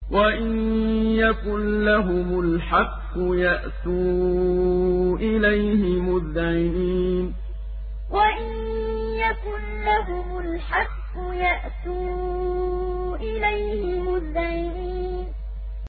وَإِن يَكُن لَّهُمُ الْحَقُّ يَأْتُوا إِلَيْهِ مُذْعِنِينَ وَإِن يَكُن لَّهُمُ الْحَقُّ يَأْتُوا إِلَيْهِ مُذْعِنِينَ